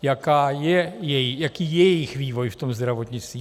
Jaký je jejich vývoj v tom zdravotnictví?